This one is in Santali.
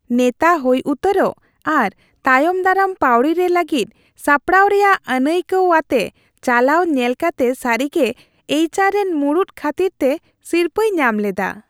ᱱᱮᱛᱟ ᱦᱩᱭ ᱩᱛᱟᱹᱨᱚᱜ ᱟᱨ ᱛᱟᱭᱚᱢᱫᱟᱨᱟᱢ ᱯᱟᱹᱣᱲᱤ ᱨᱮ ᱞᱟᱹᱜᱤᱫ ᱥᱟᱯᱲᱟᱣ ᱨᱮᱭᱟᱜ ᱟᱹᱱᱟᱹᱭᱠᱟᱹᱣ ᱟᱛᱮ ᱪᱟᱞᱟᱣ ᱧᱮᱞ ᱠᱟᱛᱮ ᱥᱟᱹᱨᱤᱜᱮ ᱮᱭᱤᱡ ᱟᱨ ᱨᱮᱱ ᱢᱩᱲᱩᱫ ᱠᱷᱟᱹᱛᱤᱨᱛᱮ ᱥᱤᱨᱯᱟᱹᱭ ᱧᱟᱢ ᱞᱮᱫᱟ ᱾